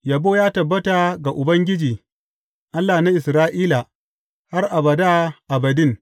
Yabo ya tabbata ga Ubangiji, Allah na Isra’ila, har abada abadin.